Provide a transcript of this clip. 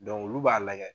olu b'a lajɛ